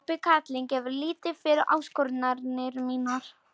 Klobbi karlinn gefur lítið fyrir áskoranir mínar.